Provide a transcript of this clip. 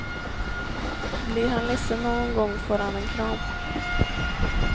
Blir han ledsen någon gång, får han en kram.